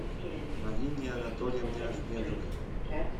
марине анатольевне ахмедовой